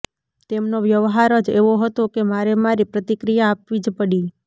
તેમનો વ્યવહાર જ એવો હતો કે મારે મારી પ્રતિક્રિયા આપવી જ પડી